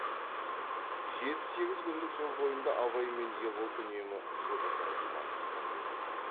жеті сегіз күндік жол бойында абай мен ербол үнемі жұбы жазылмай бірге болған